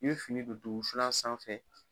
I bi fini de ton wusulan sanfɛ.